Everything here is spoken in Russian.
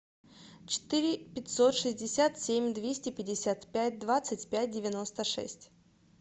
четыре пятьсот шестьдесят семь двести пятьдесят пять двадцать пять девяносто шесть